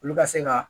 Olu ka se ka